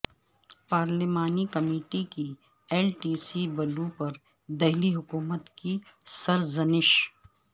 پارلیمانی کمیٹی کی L T C بلوں پر دہلی حکومت کی سرزنش